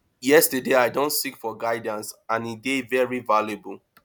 yes i don seek for guidance and e dey very valuable